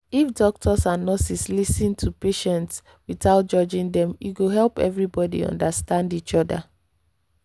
if doctors and nurses lis ten to patients without judging them e go help everybody understand each other